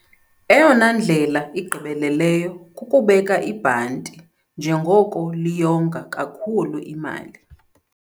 Eyona ndlela igqibeleleyo kukubeka ibhanti njengoko liyonga kakhulu imali.